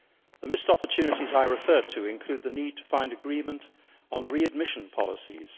The missed opportunities I referred to include the need to find agreement on readmission policies.